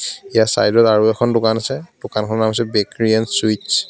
ইয়াৰ ছাইডত আৰু এখন দোকান আছে দোকানখনৰ নাম হৈছে বেকাৰী এণ্ড চুইচ্ ।